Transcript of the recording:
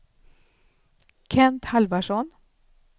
Kent Halvarsson